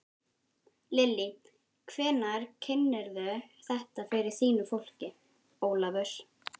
Lillý: Hvenær kynnirðu þetta fyrir þínu fólki, Ólafur?